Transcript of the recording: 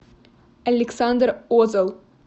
александр озел